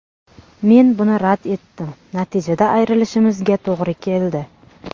Men buni rad etdim, natijada ayrilishimizga to‘g‘ri keldi”.